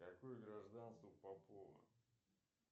какое гражданство у попова